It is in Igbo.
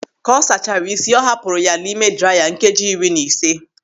Ka ọ sachaara ịsị ọ hapụrụ ya n'ime draiya nkeji iri na ise.